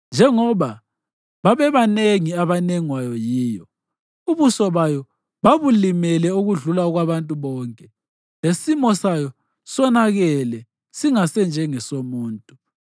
Njengoba babebanengi abanengwayo yiyo, ubuso bayo babulimele okudlula okwabantu bonke, lesimo sayo sonakele singase njengesomuntu,